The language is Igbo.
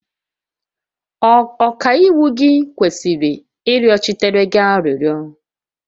Ọkaiwu gị kwesịrị ịrịọchitere gị arịrịọ